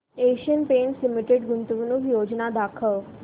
Asian Paints Limited गुंतवणूक योजना दाखव